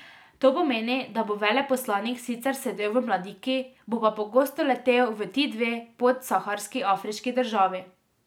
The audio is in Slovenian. To pomeni, da bo veleposlanik sicer sedel v Mladiki, bo pa pogosto letel v ti dve podsaharski afriški državi.